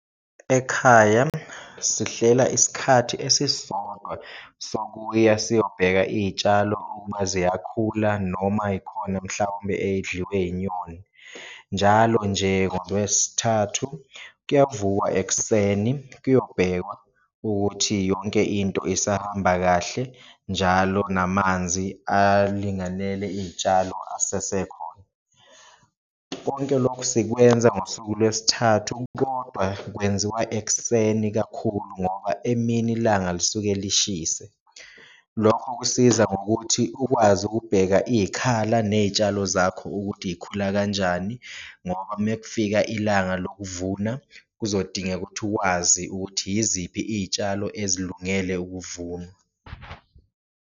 Ekhaya sihlela isikhathi esisodwa sokuya siyobheka iyitshalo ukuba ziyakhula noma yikhona mhlawumbe eyidliwe inyoni. Njalo nje ngoLwesithathu kuyavukwa ekuseni kuyobhekwana ukuthi yonke into isahamba kahle njalo namanzi alinganele iyitshalo asesekhona. Konke lokhu sikwenza ngosuku lwesithathu kodwa kwenziwa ekuseni kakhulu ngoba emini ilanga lisuke lishise, lokho kusiza ngokuthi ukwazi ukubheka iyikhala neyitshalo zakho ukuthi yikhula kanjani. Ngoba uma kufika ilanga lokuvuna kuzodingeka ukuthi uwazi ukuthi yiziphi iyitshalo ezilungele ukuvunwa.